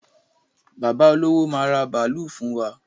Bàbá olówó máa ra bàálú fún wa.